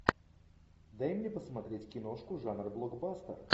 дай мне посмотреть киношку жанра блокбастер